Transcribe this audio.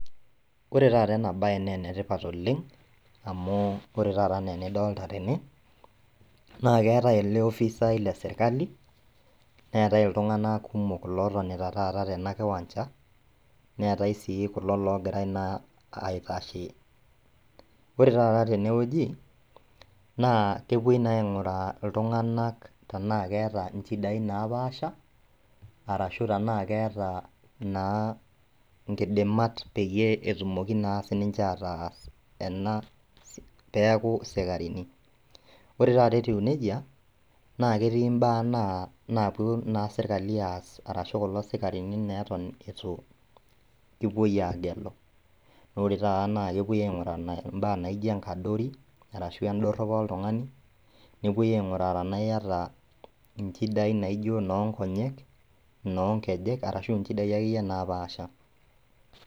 Ore tata enabaye neenetipat oleng' amu ore taata anaa enidolta tene, naaketai ele offisai leserkali, neetai iltung'anak kumok lotonita tata tena kiwanja, neetai sii kulo logirai naa aitashe. Ore tata tenewueji naa kepuoi naa aing'uraa iltung'anak tenaa keeta inchidai naapaasha arashu tenaa keeta naa inkidimat peyie etumoki naa sininche ataas ena peaku sikarini. Ore tata etiu neija naaketii imbaa naa napuo naa serkali aas arashu kulo sikarini neeton eitu epuoi aagelu. Naore tata nakepuoi aing'uraa naa imbaa naijo enkadori arashu endorropo oltung'ani, nepuoi aing'uraa tenaa iata inchidai naijo noonkonyek, noonkejek arashu inchidai akeyie naapaasha.